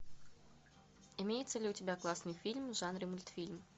имеется ли у тебя классный фильм в жанре мультфильм